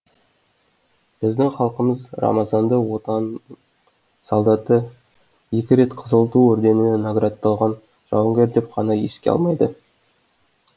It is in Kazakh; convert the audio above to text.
біздің халқымыз рамазанды отанның солдаты екі рет қызыл ту орденімен наградталған жауынгер деп қана еске алмайды